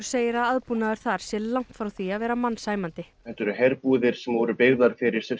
segir að aðbúnaður þar sé langt frá því að vera mannsæmandi þetta eru herbúðir sem eru byggðar fyrir